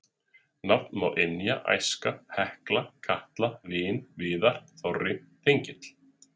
Nefna má Ynja, Æska, Hekla, Katla, Vin, Viðar, Þorri, Þengill.